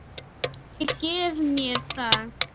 Ég gef mér það.